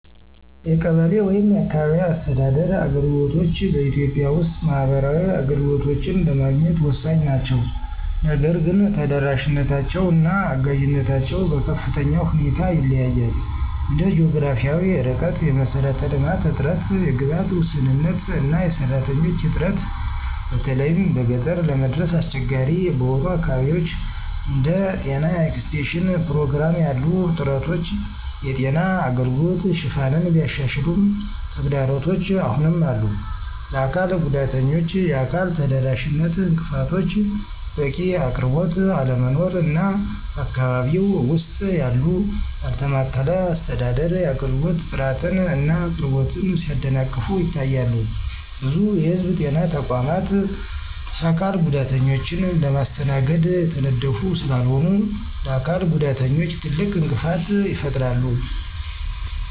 የቀበሌ (አካባቢያዊ አስተዳደር) አገልግሎቶች በኢትዮጵያ ውስጥ ማህበራዊ አገልግሎቶችን ለማግኘት ወሳኝ ናቸው። ነገር ግን ተደራሽነታቸው እና አጋዥነታቸው በከፍተኛ ሁኔታ ይለያያል እንደ ጂኦግራፊያዊ ርቀት፣ የመሰረተ ልማት እጥረት፣ የግብዓት ውስንነት እና የሰራተኞች እጥረት በተለይም በገጠር ለመድረስ አስቸጋሪ በሆኑ አካባቢዎች። እንደ ጤና ኤክስቴንሽን ፕሮግራም ያሉ ጥረቶች የጤና አገልግሎት ሽፋንን ቢያሻሽሉም ተግዳሮቶች አሁንም አሉ፣ ለአካል ጉዳተኞች የአካል ተደራሽነት እንቅፋቶች፣ በቂ አቅርቦት አለመኖር እና በአካባቢው ውስጥ ያለው ያልተማከለ አስተዳደር የአገልግሎት ጥራትን እና አቅርቦትን ሲያደናቅፉ ይታያሉ። ብዙ የህዝብ ጤና ተቋማት የአካል ጉዳተኞችን ለማስተናገድ የተነደፉ ስላልሆኑ ለአካል ጉዳተኞች ትልቅ እንቅፋት ይፈጥራሉ።